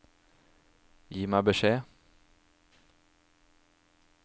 Gi meg beskjed